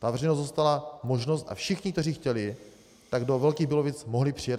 Ta veřejnost dostala možnost a všichni, kteří chtěli, tak do Velkých Bílovic mohli přijet.